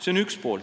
See on üks pool.